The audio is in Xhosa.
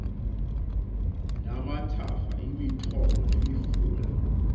namathafa imithombo nemifula